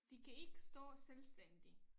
De kan ikke stå selvstændigt